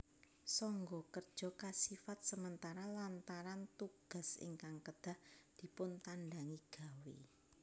Sangga Kerja kasifat sementara lantaran tugas ingkang kedah dipuntandangi gawé